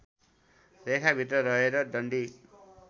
रेखाभित्र रहेर डन्डी